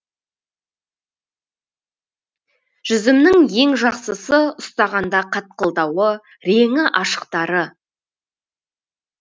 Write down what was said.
жүзімнің ең жақсысы ұстағанда қатқылдауы реңі ашықтары